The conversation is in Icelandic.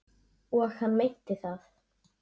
Og hann meinti það.